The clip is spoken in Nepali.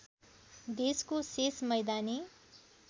देशको शेष मैदानी